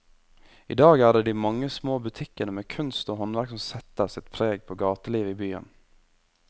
I dag er det de mange små butikkene med kunst og håndverk som setter sitt preg på gatelivet i byen.